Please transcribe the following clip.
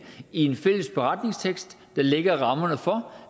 i en fælles beretningstekst der lægger rammerne for